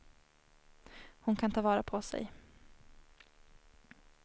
Hon kan ta vara på sig.